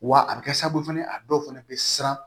Wa a bɛ kɛ sababu ye fana a dɔw fana bɛ siran